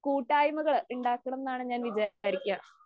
കൂട്ടായ്മകള് ഉണ്ടാക്കണം എന്നാണ് ഞാൻ വിചാരിക്കാ.